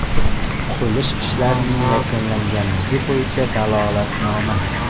Qurilish ishlarining yakunlanganligi bo‘yicha dalolatnoma.